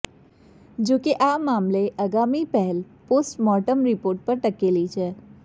જોકે આ મામલે આગામી પહેલ પોસ્ટમોર્ટમ રિપોર્ટ પર ટકેલી છે